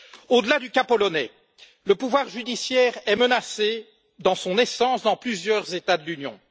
Au delà du cas polonais, le pouvoir judiciaire est menacé dans son essence dans plusieurs États de l'Union.